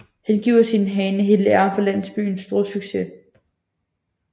Han giver sin hane hele æren for landsbyens store succes